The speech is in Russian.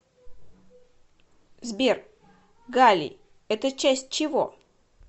сбер галлий это часть чего